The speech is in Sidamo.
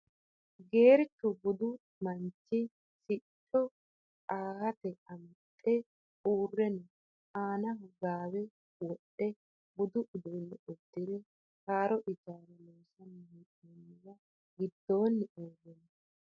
Geerchu budu manichi siqicho anhate amaxe uure no anaho gaawe wodhe budu uduune udire haaro ijaara lonsani heenoniwa gidooni uure no.